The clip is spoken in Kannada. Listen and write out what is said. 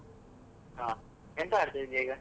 ಹ, ಎಂತ ಮಾಡ್ತಾ ಇದ್ದೀಯ ಈಗ?